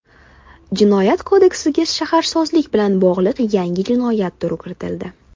Jinoyat kodeksiga shaharsozlik bilan bog‘liq yangi jinoyat turi kiritildi.